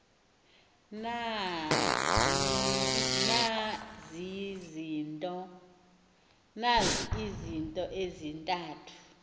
na izinto ezintathu